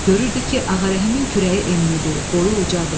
Görürdü ki, Ağarəhimin kürəyi eninidir, boyu ucacdır.